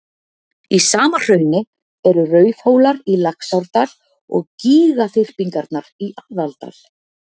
Í sama hrauni eru og Rauðhólar í Laxárdal og gígaþyrpingarnar í Aðaldal.